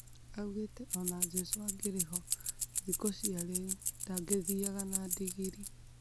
Augite ona Jesũ angĩrĩho thũko cia rĩu ,"ndangĩthianga na ndigiri"